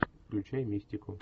включай мистику